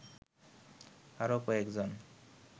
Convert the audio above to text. আরও কয়েকজন